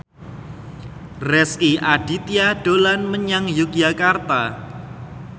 Rezky Aditya dolan menyang Yogyakarta